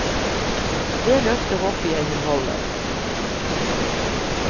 Det løftet håper jeg hun holder.